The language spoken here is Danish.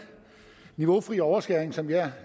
niveaufri overskæring som jeg